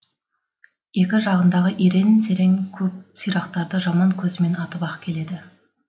екі жағындағы ерең серен көп сирақтарды жаман көзімен атып ақ келеді